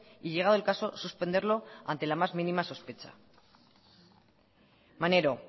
y llegado el caso suspenderlo ante la más mínima sospecha maneiro